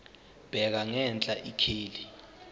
bheka ngenhla ikheli